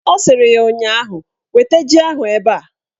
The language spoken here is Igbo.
Ọ sịrị ya ụnyaahụ "Weta ji ahụ ebe a"!